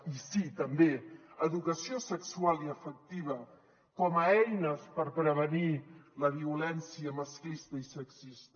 i sí també educació sexual i afectiva com a eines per prevenir la violència masclista i sexista